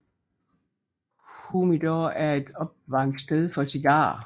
Humidor er et opvaringssted for cigarer